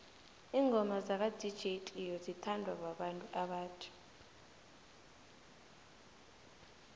ingoma zaka dj cleo zithanwa babantu abatjha